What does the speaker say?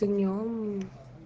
днём